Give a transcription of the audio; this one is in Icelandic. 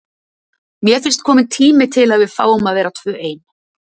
Mér finnst kominn tími til að við fáum að vera tvö ein.